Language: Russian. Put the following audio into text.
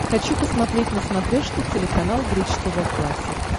хочу посмотреть на смотрешке телеканал бридж тв классик